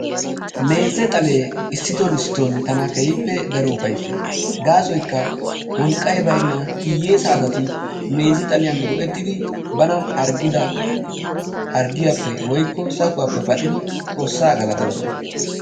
Meeze xalee issiton issiton tana keehippe daro ufayissees. Gaasoykka wolqqay baynna hiyeesa asati meeze xaliyan go"ettidi bana harggida harggiyappe woykko sakuwappe paxidi xoossaa galatoosona.